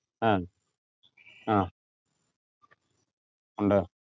ആഹ് ആഹ് എന്താ